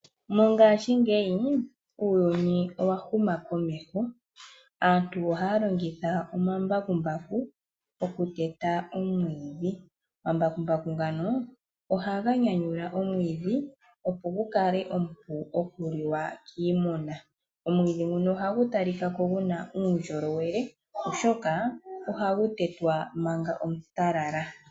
Mongashingeyi uuyuni owa huma komeho aantu ohaya longitha omambakumbaku okuteta omwiidhi. Omambakumbaku ngano ohaga nyanyula omwiidhi opo gu kale omupu okuliwa kiimuna. Omwiidhi nguno ohagu talika ko gu na uundjolowele oshoka ohagu tetwa manga omutalala.